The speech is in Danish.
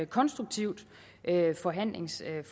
konstruktivt forhandlingsforløb